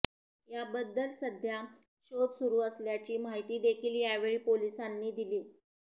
याबद्दल सध्या शोध सुरू असल्याची माहिती देखील यावेळी पोलिसांनी दिली